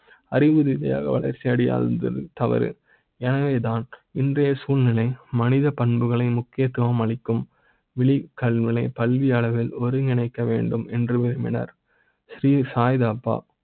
அறிவு இணையாக வளர்ச்சி அடைய இருந்தது தவறு என வே தான் இன்றைய சூழ்நிலை, மனித பண்புகளை முக்கியத்துவ ம் அளிக்கும். வெளி கல்முனை பள்ளி அளவில் ஒருங்கிணைக்க வேண்டும் என்று விரும்பினார் ஸ்ரீ சாய்பாபா.